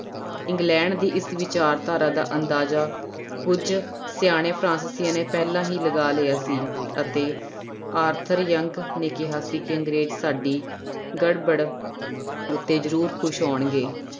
England ਦੀ ਇਸ ਵਿਚਾਰਧਾਰਾ ਦਾ ਅੰਦਾਜਾ ਕੁੱਝ ਸਿਆਣੇ ਫਰਾਂਸਿਸੀਆਂ ਨੇ ਪਹਿਲਾਂ ਹੀ ਲਗਾ ਲਿਆ ਸੀ ਅਤੇ ਆਰਥਰ ਜੰਗ ਨੇ ਕਿਹਾ ਸੀ ਕਿ ਅੰਗਰੇਜ਼ ਸਾਡੀ ਗੜਬੜ ਉੱਤੇ ਜ਼ਰੂਰ ਖ਼ੁਸ਼ ਹੋਣਗੇ।